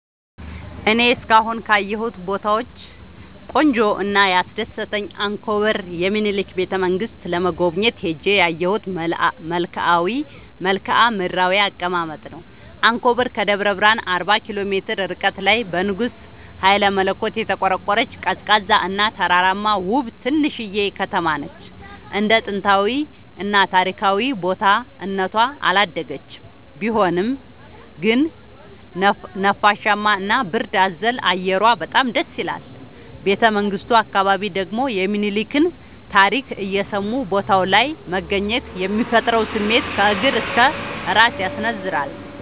እኔ እስካሁን ካየሁት ቦታወች ቆንጆው እና ያስደሰተኝ አንኮበር የሚኒልክን ቤተ-መንግስት ለመጎብኘት ሄጄ ያየሁት መልከአ ምድራዊ አቀማመጥ ነው። አንኮበር ከደብረ ብረሃን አርባ ኪሎ ሜትር ርቀት ላይ በንጉስ ሀይለመለኮት የተቆረቆረች፤ ቀዝቃዛ እና ተራራማ ውብ ትንሽዬ ከተማነች እንደ ጥንታዊ እና ታሪካዊ ቦታ እነቷ አላደገችም ቢሆንም ግን ነፋሻማ እና ብርድ አዘል አየሯ በጣም ደስይላል። ቤተመንግቱ አካባቢ ደግሞ የሚኒልክን ታሪክ እየሰሙ ቦታው ላይ መገኘት የሚፈጥረው ስሜት ከእግር እስከ እራስ ያስነዝራል።